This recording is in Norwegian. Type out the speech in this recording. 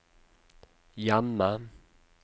hjemme